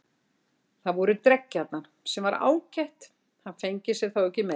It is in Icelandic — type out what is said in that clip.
Það voru dreggjarnar, sem var ágætt, hann fengi sér þá ekki meira.